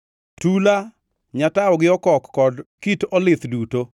tula, nyatawo gi okok kod kit olith duto